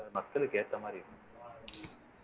மக்களுக்கு ஏத்த மாறி இருக்கணும்